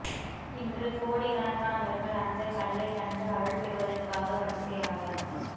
இன்று கோடி கணக்கானவர்கள் அந்த கல்லை கண்டு அருள் பெறுவதுக்காக வரிசையாக